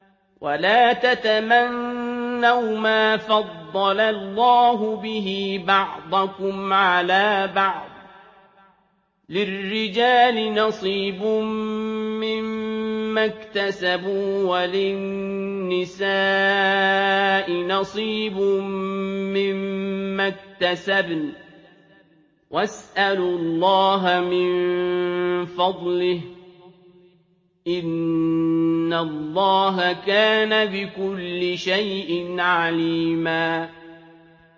وَلَا تَتَمَنَّوْا مَا فَضَّلَ اللَّهُ بِهِ بَعْضَكُمْ عَلَىٰ بَعْضٍ ۚ لِّلرِّجَالِ نَصِيبٌ مِّمَّا اكْتَسَبُوا ۖ وَلِلنِّسَاءِ نَصِيبٌ مِّمَّا اكْتَسَبْنَ ۚ وَاسْأَلُوا اللَّهَ مِن فَضْلِهِ ۗ إِنَّ اللَّهَ كَانَ بِكُلِّ شَيْءٍ عَلِيمًا